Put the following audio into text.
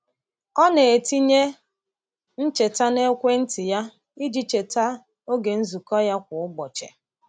Ọ na-etinye ncheta n’ekwenti ya iji cheta oge nzukọ ya kwa ụbọchị.